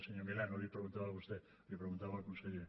senyor milà no li ho preguntava a vostè li ho preguntava al conseller